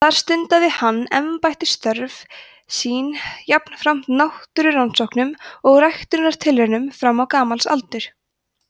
þar stundaði hann embættisstörf sín jafnframt náttúrurannsóknum og ræktunartilraunum fram á gamals aldur